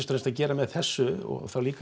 fremst að gera með þessu og þá líka